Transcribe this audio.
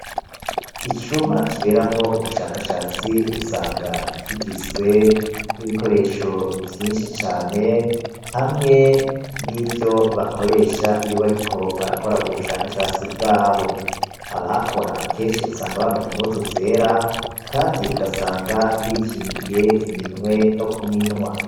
Icumba kiberamwo ubushakashatsi usanga kigizwe nibikoresho vyinshi cane hamwe n'ivyo bakoresha iyo bariko barakora ubushakashatsi bwabo, abahakora kenshi usanga bambaye impuzu zera Kandi ugasanga bikingiye nokuminwa.